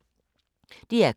DR K